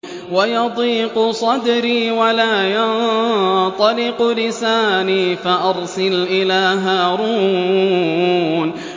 وَيَضِيقُ صَدْرِي وَلَا يَنطَلِقُ لِسَانِي فَأَرْسِلْ إِلَىٰ هَارُونَ